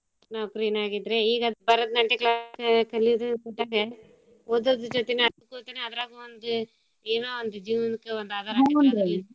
ನೌಕ್ರಿನ ಆಗೇತ್ರಿ ಈಗ್ ಅದ್ ಭರತ್ನಾಟ್ಯ ಕಲ್ಯೋದೂ ಓದೋದ್ರು ಜೊತಿನ ಆದ್ರಾಗೂ ಒಂದ್ ಏನೋ ಒಂದ್ ಜೀವ್ನಕ್ಕ ಒಂದ್ ಆದಾರ .